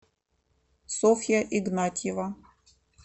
софья игнатьева